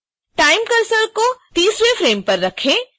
time cursor को 30